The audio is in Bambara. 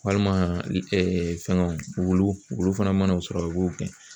Walima fɛngɛw wulu wulu fana mana o sɔrɔ u b'o gɛn